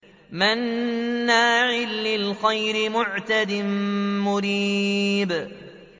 مَّنَّاعٍ لِّلْخَيْرِ مُعْتَدٍ مُّرِيبٍ